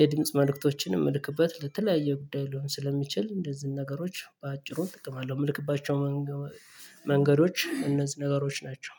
የድምጽ መልእክቶችን የምልክበት ለተለያየ ጉዳይ ሊሆን ስለሚችል እንደዚህ ነገሮች በአጭሩ እጠቀማለሁ የምልክባቸው መንገዶች እነዚህ ነገሮች ናቸው